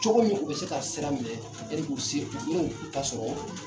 Cogo min u bɛ se ka sira minɛ yanni k'u se u ta sɔrɔ.